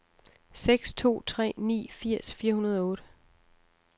seks to tre ni firs fire hundrede og otte